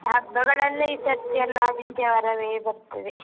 ಹಬ್ಬಗಳೆಲ್ಲ ಈ ಸರ್ತಿ ಎಲ್ಲಾ ಆದಿತ್ಯವಾರವೇ ಬರ್ತದೆ.